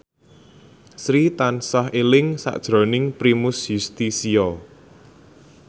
Sri tansah eling sakjroning Primus Yustisio